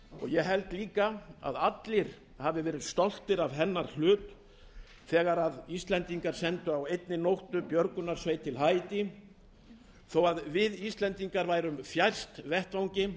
ég held líka að allir hafi verið stoltir af hennar hlut þegar íslendingar sendu á einni nóttu björgunarsveit til haítí þó að við íslendingar værum fjærstir vettvangi